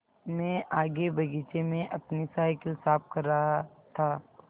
मैं आगे बगीचे में अपनी साईकिल साफ़ कर रहा था